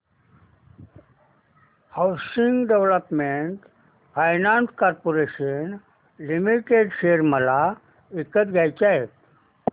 housing development finance corporation limited share मला विकत घ्यायचे आहेत